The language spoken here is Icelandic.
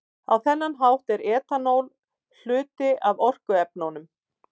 Á þennan hátt er etanól hluti af orkuefnunum.